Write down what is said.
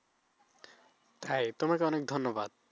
তাই তোমাকে অনেক ধন্যবাদ।